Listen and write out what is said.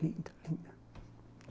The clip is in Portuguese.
Linda, linda.